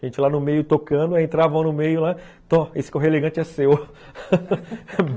Gente lá no meio tocando, aí entravam no meio lá, esse correio elegante é seu.